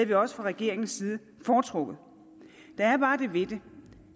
vi også fra regeringens side foretrukket der er bare det ved det